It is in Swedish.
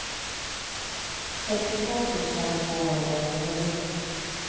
sextiotvå tusen tvåhundraåttionio